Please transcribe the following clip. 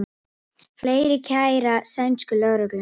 Fleiri kæra sænsku lögregluna